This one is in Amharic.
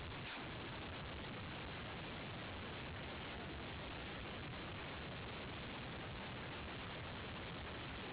አካል ጉዳተኞችን አስተዳደር ክህሎትን ማሳደግ።